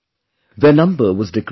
Their number was decreasing